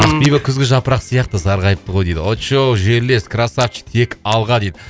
ақбибі күзгі жапырақ сияқты сарғайыпты ғой дейді очоу жерлес крассавчик тек алға дейді